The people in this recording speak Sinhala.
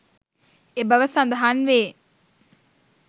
එබව සදහන්වේ